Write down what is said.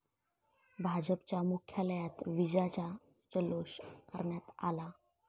भाजपच्या मुख्यालयात विजयाचा जल्लोष करण्यात आला.